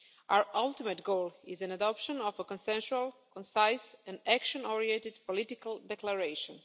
Our ultimate goal is the adoption of a consensual concise and action oriented political declaration.